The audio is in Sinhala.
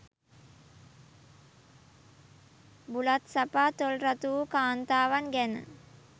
බුලත් සපා තොල් රතු වූ කාන්තාවන් ගැන